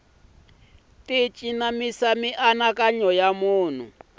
ti cinamisa mianakanyo ya munhu